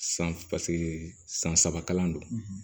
San paseke san saba kalan don